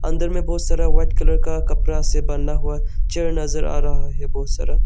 अंदर में बहुत सारा व्हाइट कलर का कपड़ा से बना हुआ चेयर नजर आ रहा है बहुत सारा।